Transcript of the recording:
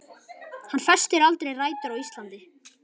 Hann festir aldrei rætur á Íslandi.